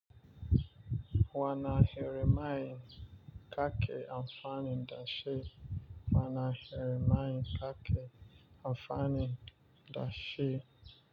Wane irin mai kake amfanin da shi. Wana Jeremiah kake amfanin da shi.